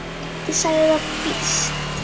Ég sagði það víst.